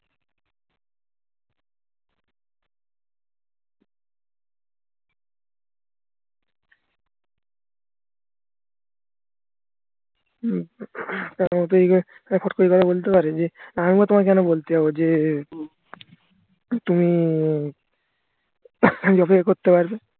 উম করে এ কথা বলতে পারে যে আমি আবার তোমাকে কেন বলতে যাবো যে উম তুমি করতে পারবে